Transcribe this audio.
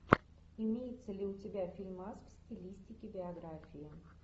имеется ли у тебя фильмас в стилистике биографии